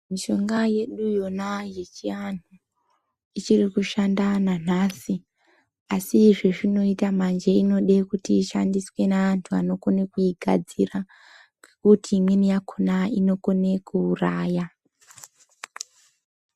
Mishonga yedu yona yechiantu ichiri kushanda nanhasi asi zvezvinoita manje inodw kuti ishandiswe neantu anokone kuigadzira ngokuti imweni yakona inokone kuuraya.